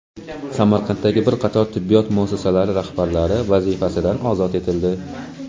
Samarqanddagi bir qator tibbiyot muassasalari rahbarlari vazifasidan ozod etildi.